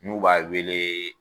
N'u b'a wele